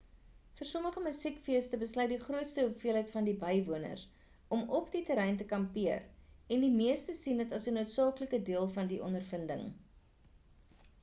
vir sommige musiekfeeste besluit die grootste hoeveelheid van die bywoners om op die terrein te kampeer en die meeste sien dit as 'n noodsaaklike deel van die ondervinding